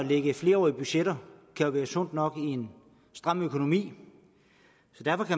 lægge flerårige budgetter kan være sundt nok i en stram økonomi